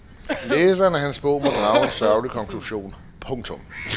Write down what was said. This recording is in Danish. Læseren af hans bog må drage en sørgelig konklusion. punktum